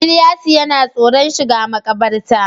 Ilyasu yana tsoron shiga makabarta